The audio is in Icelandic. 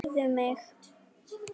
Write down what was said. Heyrðu mig.